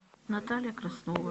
наталья краснова